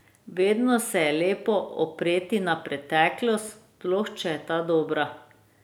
Vedno se je lepo opreti na preteklost, sploh če je ta dobra.